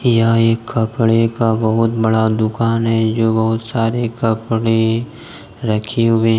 यह एक कपड़े का बहोत बड़ा दुकान है जो बहुत सारे कपड़े रखे हुए--